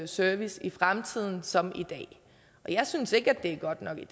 service i fremtiden som i dag jeg synes ikke det er godt nok i